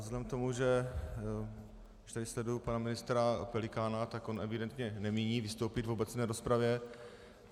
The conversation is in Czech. Vzhledem k tomu, že jak tady sleduji pana ministra Pelikána, tak on evidentně nemíní vystoupit v obecné rozpravě.